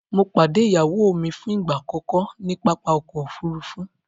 Mọ̀ padẹ̀ iyáwó mi fún ìgba akọkọ ni pápá ọkọ̀ òfurufú